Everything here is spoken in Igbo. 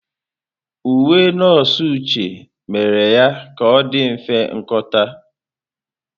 Uwe nọọsụ Uche mere ka ọ dị mfe nkọta.